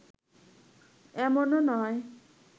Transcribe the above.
এমনও নয়